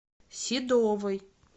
седовой